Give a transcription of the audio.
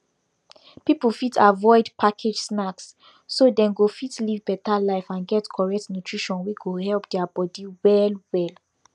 pipu fit avoid package snacks so dem go fit live better life and get correct nutrition wey go help deir body well well